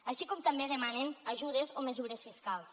així com també demanen ajudes o mesures fiscals